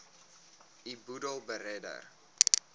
u boedel beredder